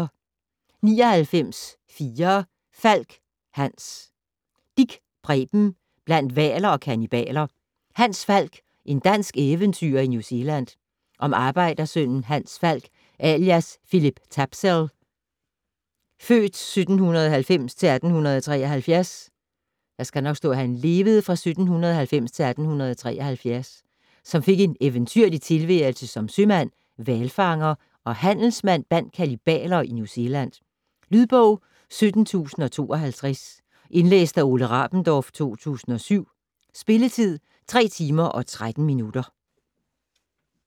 99.4 Falk, Hans Dich, Preben: Blandt hvaler og kannibaler: Hans Falk - en dansk eventyrer i New Zealand Om arbejdersønnen Hans Falk alias Philip Tapsell (f. 1790-1873), som fik en eventyrlig tilværelse som sømand, hvalfanger og handelsmand blandt kannibaler i New Zealand. Lydbog 17052 Indlæst af Ole Rabendorf, 2007. Spilletid: 3 timer, 13 minutter.